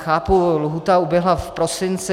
Chápu, lhůta uběhla v prosinci.